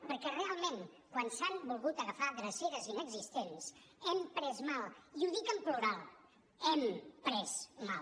perquè realment quan s’han volgut agafar dreceres inexistents hem pres mal i ho dic en plural hem pres mal